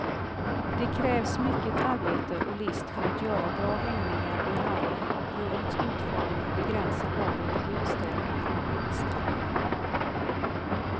Det krävs mycket arbete och list för att göra bra hängningar i hallen och rummets utformning begränsar valet av utställningar och utställare.